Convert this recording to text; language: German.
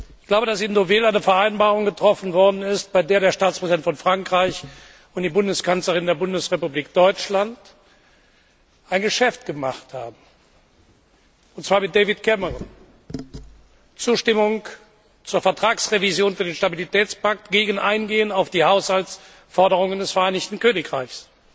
Ich glaube, dass in Deauville eine Vereinbarung getroffen worden ist, bei der der Staatspräsident von Frankreich und die Bundeskanzlerin der Bundesrepublik Deutschland ein Geschäft gemacht haben, und zwar mit David Cameron Zustimmung zur Vertragsrevision für den Stabilitätspakt gegen Eingehen auf die Haushaltsforderungen des Vereinigten Königreichs.